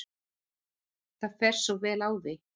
Það fer svo vel á því.